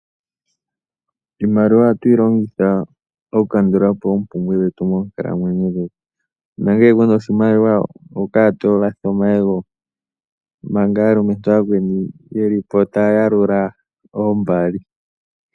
Iimaliwa ohatuyi longitha okukandula po oompumbwe dhetu moonkalamwenyo dhetu, nangele kuna oshimaliwa ohokala tolatha omayego manga aalumentu ooyakweni yeli po taya yalula oombali.